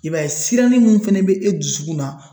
I b'a ye sirannin mun fɛnɛ be e dusukun na